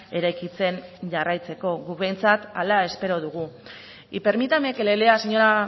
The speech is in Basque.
eraikitzen jarraitzeko guk behintzat hala espero dugu y permítame que le lea señora